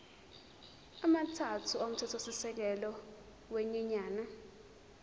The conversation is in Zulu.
amathathu omthethosisekelo wenyunyane